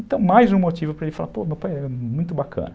Então, mais um motivo para ele falar, pô, meu pai é muito bacana.